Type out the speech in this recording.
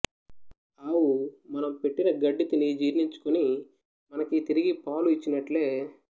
ఆవు మనం పెట్టిన గడ్డి తిని జీర్ణించుకుని మనకి తిరిగి పాలు ఇచ్చినట్లే